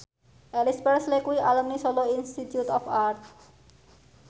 Elvis Presley kuwi alumni Solo Institute of Art